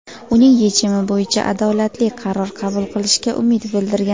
uning yechimi bo‘yicha adolatli qaror qabul qilishiga umid bildirgan.